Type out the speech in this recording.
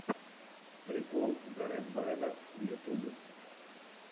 прикол зе рэд брэда в ютубе